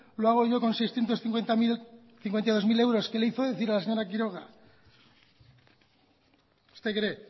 lo hago yo con seiscientos cincuenta y dos mil euros que le hizo decir a la señora quiroga usted cree